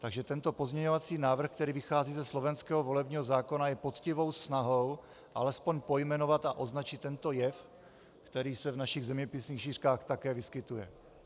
Takže tento pozměňovací návrh, který vychází ze slovenského volebního zákona, je poctivou snahou alespoň pojmenovat a označit tento jev, který se v našich zeměpisných šířkách také vyskytuje.